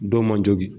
Dɔw man jogin